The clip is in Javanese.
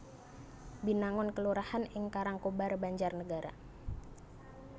Binangun kelurahan ing Karangkobar Banjarnegara